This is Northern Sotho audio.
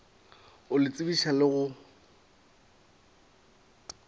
go le tsebiša le go